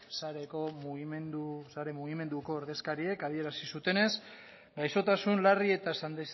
sare mugimenduko ordezkariek adierazi zutenez gaixotasun larri eta